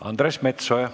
Andres Metsoja.